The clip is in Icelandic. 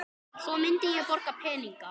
Svo myndi ég borga peninga